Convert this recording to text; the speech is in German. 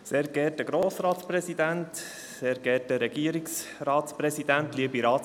Ich gebe das Wort dem Motionär, Grossrat Gerber.